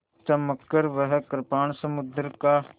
चमककर वह कृपाण समुद्र का